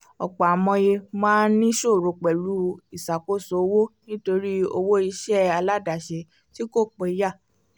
ọ̀pọ̀ amòye máa ń ní ìṣòro pẹ̀lú ìsàkóso owó nítorí owó iṣẹ́ aládàsẹ̀ tí kò péyà